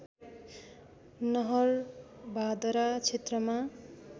नहरभादरा क्षेत्रमा